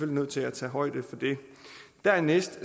nødt til at tage højde for det dernæst